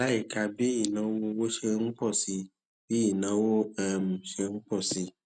láìka bí ìnáwó owó ṣe ń pọ sí i bí ìnáwó um ṣe ń pọ sí i